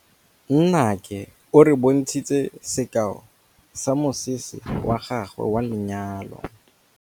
Nnake o re bontshitse sekaô sa mosese wa gagwe wa lenyalo.